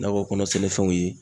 Nakɔ kɔnɔ sɛnɛfɛnw ye